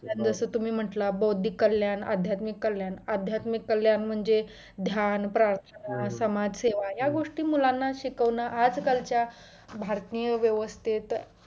जसं तुम्ही म्हंटलं बौद्धिक कल्याण आध्यात्मिक कल्याण आध्यात्मिक कल्याण म्हणजे ध्यान प्रार्थना समाजसेवा या गोष्टी मुलांना शिकवणं आजकलचा भारतीय व्यवसस्थेत